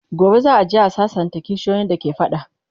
gobe za'a je a sassanta kishiyoyin da ke fada